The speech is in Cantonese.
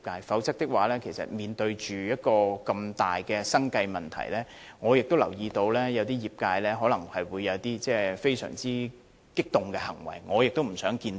否則，面對如此大的生計問題，我留意到有些業界可能會有一些非常激動的行為，我也不想看到。